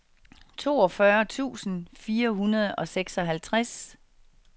toogfyrre tusind fire hundrede og seksoghalvtreds